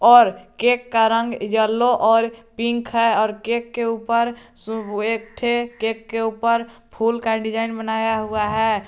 और केक का रंग येलो और पिंक है और केक के ऊपर एकठे केक के ऊपर फूल का डिजाइन बनाया हुआ है।